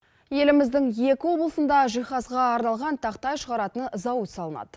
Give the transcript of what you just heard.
еліміздің екі облысында жиһазға арналған тақтай шығаратын зауыт салынады